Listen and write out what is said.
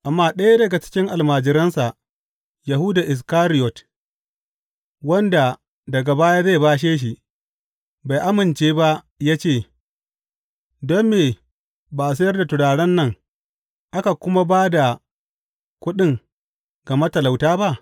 Amma ɗaya daga cikin almajiransa, Yahuda Iskariyot, wanda daga baya zai bashe shi, bai amince ba ya ce, Don me ba a sayar da turaren nan aka kuma ba da kuɗin ga matalauta ba?